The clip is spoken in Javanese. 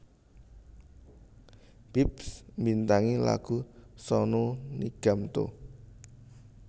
Bips mbintangi lagu Sonu Nigam Tu